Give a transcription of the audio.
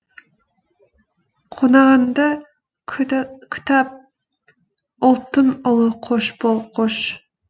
қонағыңды күт ап ұлттың ұлы қош бол қош